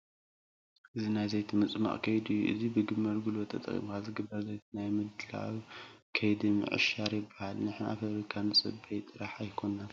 እዚ ዘይቲ ናይ ምፅሟቕ ከይዲ እዩ፡፡ እዚ ብግመል ጉልበት ተጠቒምካ ዝግበር ዘይቲ ናይ ምድላው ከምዲ ምዕሻር ይበሃል፡፡ ንሕና ፋብሪካ ንፅበይ ጥራይ ኣይኮንናን፡፡